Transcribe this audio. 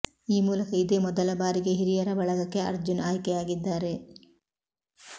ಈ ಮೂಲಕ ಇದೇ ಮೊದಲ ಬಾರಿಗೆ ಹಿರಿಯರ ಬಳಗಕ್ಕೆ ಅರ್ಜುನ್ ಆಯ್ಕೆಯಾಗಿದ್ದಾರೆ